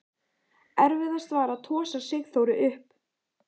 Erfiðast var að tosa Sigþóru upp.